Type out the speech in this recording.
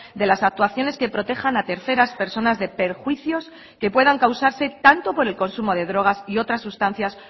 de las actuaciones que protejan a terceras personas de perjuicios que puedan causarse tanto por el consumo de drogas y otras sustancias